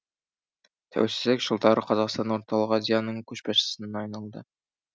тәуелсіздік жылдары қазақстан орталық азияның көшбасшысына айналды